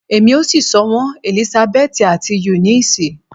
Emi o si sọ wọn Elisabeti ati Eunice